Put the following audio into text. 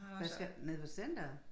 Hvad skal nede ved centeret?